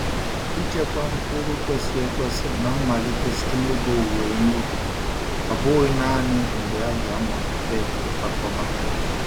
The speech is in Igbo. Ichekwa mkpụrụ kwesịrị ekwesị na-amalite site n'oge owuwe ihe ubi, ọ bụghị naanị mgbe a ga-amalite ịkwakọba.